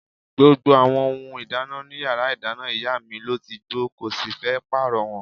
Gbogbo àwọn ohun ìdáná in yàrá ìdáná ìyá mi ló ti gbó, kò sì fẹ́ pààrọ̀ wọn.